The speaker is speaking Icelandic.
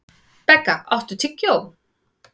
Begga, áttu tyggjó?